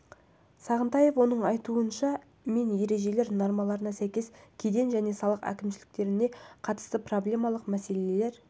сағынтаев оның айтуыша мен ережелері мен нормаларына сәйкес кеден және салық әкімшіліктендіруіне қатысты проблемалық мәселелер